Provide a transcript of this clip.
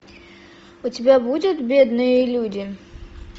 у тебя будет бедные люди